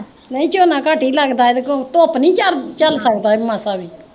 ਨਈਂ ਝੋਨਾ ਘੱਟ ਈ ਲਗਦਾ ਇਹਦੇ ਤੋਂ, ਧੁੱਪ ਨੀਂ ਇਹ ਝੱਲ ਸਕਦਾ ਮਾਸਾ ਵੀ।